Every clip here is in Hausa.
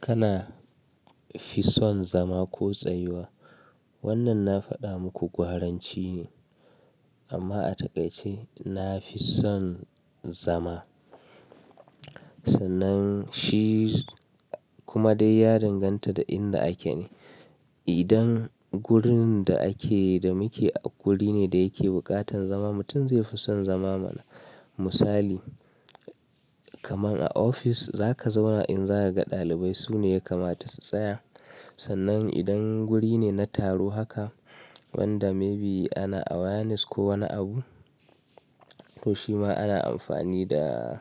Kana fi son zama ko tsayuwa? Wannan na faɗa muku gwaranci ne amma a takaice na fi son zama. Sannan shi kuma dai ya danganta da inda ake ne. Idan gurin da ake da muke a guri ne da yake buƙatan zama mutum zai fi son zama mana. Misali kaman a ofis za ka zauna in za ka ga ɗalibai su ne ya kamata su tsaya. Sannan idan guri ne na taro haka wanda maybe ana awareness ko wani abu to shi ma ana amfani da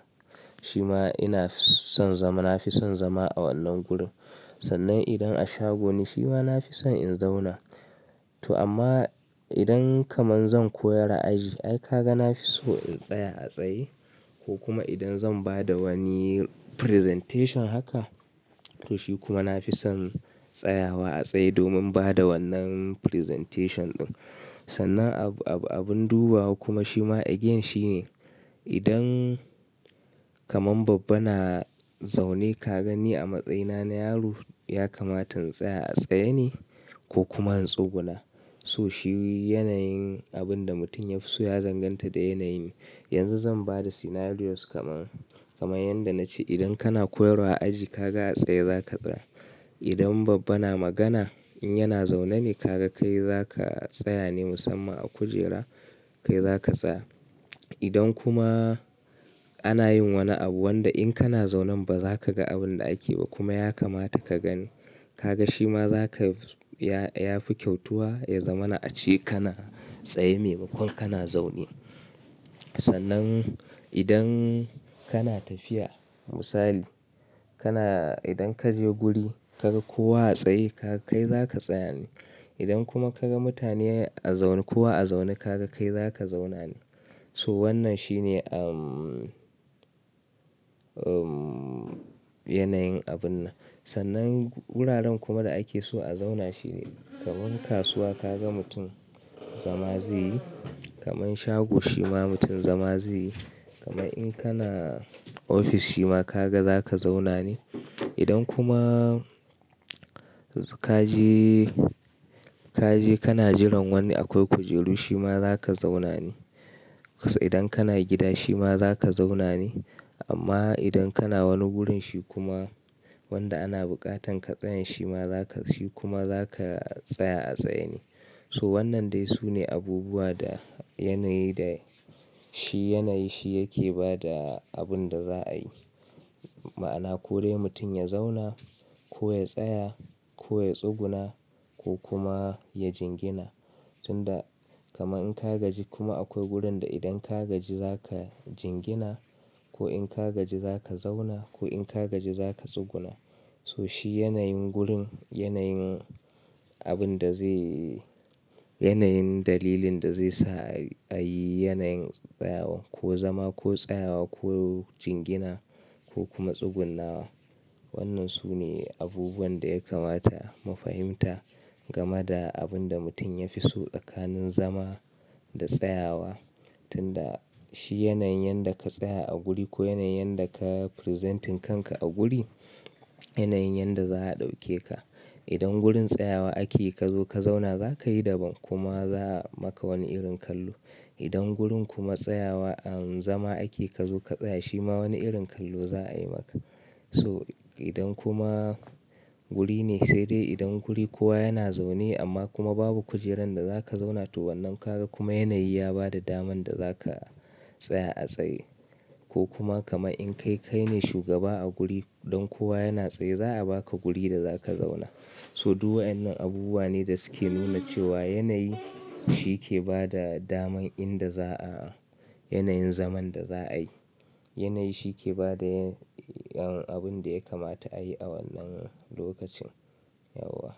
shi ma ina son zama na fi son zama a wannan gurin. Sannan idan a shago ne shi ma na fi son in zauna. To amma idan kaman zan koyar a aji ai ka ga na fi so in tsaya a tsaye ko kuma idan zan ba da wani presentation haka to shi kuma na fi son tsayawa a tsaye domin ba da wannan presentation ɗin. Sannan ab ab abun dubawa kuma shi ma again shi ne idan kaman babba na zaune ka gani a matsayina na yaro ya kamata in tsaya a tsaye ne ko kuma in tsuguna? So shi yanayin abin da mutum ya fi so ya danganta da yanayin. Yanzu zan ba da scenarios kaman, kaman yanda na ce idan kana koyarwa a aji ka ga a tsaye za ka tsaya. Idan babba na magana in yana zaune ne ka ga kai za ka tsaya ne musamman a kujera kai za ka tsaya. Idan kuma ana yin wani abu wanda in kana zaunen ba za ka ga abin da ake ba kuma ya kamata ka gani ka ga shi ma za ka ya ya fi kyautuwa ya zamana a ce kana tsaye maimakon kana zaune. Sannan idan kana tafiya misali kana idan ka je guri ka ga kowa a tsaye ka kai za ka tsaya ne. Idan kuma ka ga mutane a zaune kowa a zaune ka ga kai za ka zauna ne. So wannan shi ne umm, umm yanayin abun nan. Sannan wuraren kuma da ake so a zauna shi ne kaman kasuwa ka ga mutum zama zai yi kaman shago shi ma mutum zama zai yi kaman in kana ofis shi ma ka ga za ka zauna ne. Idan kuma ka je, ka je kana jiran wani akwai kujeru shi ma za ka zauna ne. Idan kana gida shi ma za ka zauna ne. Amma idan kana wani wurin shi kuma wanda ana buƙatan ka tsaya shi ma za ka shi kuma za ka tsaya a tsaye ne. So wannan dai su ne abubuwa da yanayi da shi yanayi shi yake ba da abin da za a yi. Ma'ana ko dai mutum ya zauna ko ya tsaya ko ya tsuguna ko kuma ya jingina. Tunda kaman in ka gaji kuma akwai wurin da idan ka gaji za ka jingina ko in ka gaji za ka zauna ko in ka gaji za ka tsuguna. So shi yanayin gurin yanayin abin da zai yi yanayin dalilin da zai sa ai ayi yanayin tsayawa ko zama ko tsayawa ko jingina ko kuma tsugunnawa. Wannan su ne abubuwan da ya kamata mu fahimta gama da abin da mutum ya fi so tsakanin zama da tsayawa. Tunda shi yanayin yanda ka tsaya a guri ko yanayin yanda ka presenting kanka a guri yanayin yanda za a ɗauke ka. Idan gurin tsayawa ake ka zo ka zauna za ka yi daban kuma za a maka wani irin kallo. Idan gurin kuma tsayawa umm zama ake ka zo ka tsaya shi ma wani irin kallo za a yi maka. So idan kuma wuri ne sai dai idan guri kowa yana zaune amma kuma babu kujeran da za ka zauna to wannan ka ga kuma yanayi ya ba da daman da za ka tsaya a tsaye ko kuma kaman in kai, kai ne shugaba a guri dan kowa yana tsaye za a baka guri da za ka zauna. So duk wa'yannan abubuwa ne da su ke nuna cewa yanayi shi ke ba da daman inda za a yanayin zaman da za a yi. Yanayi shi ke ba da abin da ya kamata a yi a wannan lokacin. Yauwa.